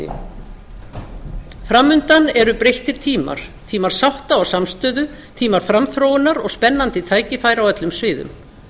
virðulegi forseti framundan eru breyttir tímar tímar sátta og samstöðu tímar framþróunar og spennandi tækifæra á öllum sviðum